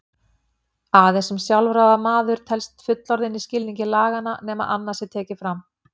Aðeins að sjálfráða maður telst fullorðinn í skilningi laganna nema annað sé tekið fram.